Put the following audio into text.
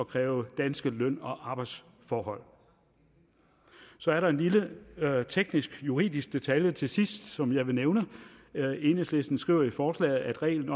kræve danske løn og arbejdsforhold så er der en lille teknisk juridisk detalje til sidst som jeg vil nævne enhedslisten skriver i forslaget at reglen